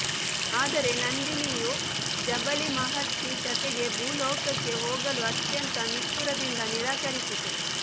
ಆದರೆ ನಂದಿನಿಯು ಜಬಲಿ ಮಹರ್ಷಿ ಜತೆಗೆ ಭೂಲೋಕಕ್ಕೆ ಹೋಗಲು ಅತ್ಯಂತ ನಿಷ್ಠುರದಿಂದ ನಿರಾಕರಿಸಿತು